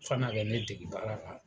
Fana bɛ ne dege baara la.